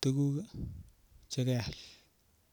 tukuk chekeal